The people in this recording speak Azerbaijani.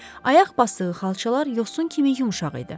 Ayaq basdığı xalçalar yosun kimi yumşaq idi.